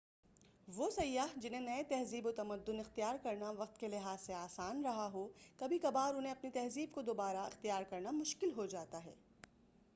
وہ سیاح جنہیں نئے تہذیب و تمدن اختیار کرنا وقت کے لحاظ سے آسان رہا ہو کبھی کبھار انہیں اپنی تہذیب کو دوبارہ اختیار کرنا مشکل ہوجاتا ہے